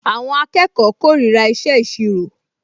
Àwọn akẹ́kọ̀ọ kórìíra ìṣe ìṣirò